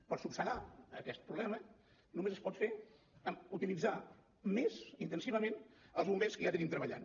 per esmenar aquest problema només es pot fer utilitzant més intensivament els bombers que ja tenim treballant